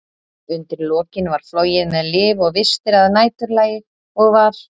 Undir lokin var flogið með lyf og vistir að næturlagi, og var